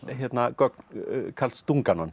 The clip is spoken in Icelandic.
gögn Karls